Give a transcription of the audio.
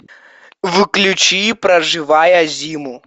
включи проживая зиму